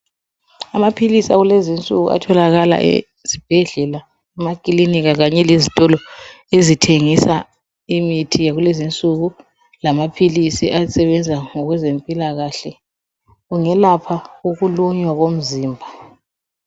Amaphilisi akulezi insuku atholakala ezibhedlela, emakilinika kanye lezitolo ezithengisa imithi yakulezi insuku, lamaphilisi asebenza ngokwezempilakahle. Kungelapha ukulunywa komzimba.